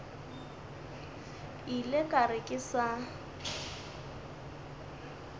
ile ka re ke sa